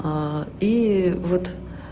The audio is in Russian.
и вот